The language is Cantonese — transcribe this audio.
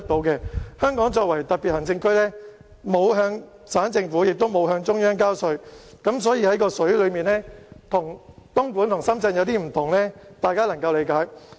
香港作為特別行政區，沒有向省政府及中央交稅，因此在用水價格上與深圳和東莞有所不用，相信大家是可以理解的。